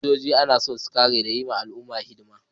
Sojoji ana son su kare da kuma yi wa al’ummarsu hidima